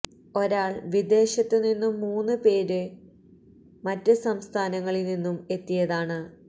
ഒരാള് വി ദേശത്തുനിന്നും മൂന്നു പേര് മറ്റ് സംസ്ഥാനങ്ങളില് നിന്നും എത്തിയതാണ്